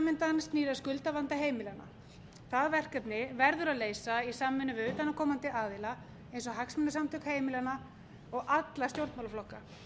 undan snýr að skuldavanda heimilanna það verkefni verður að leysa í samvinnu við utanaðkomandi aðila eins og hagsmunasamtök heimilanna og alla stjórnmálaflokka